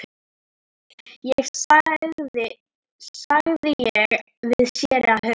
sagði ég við séra Hauk.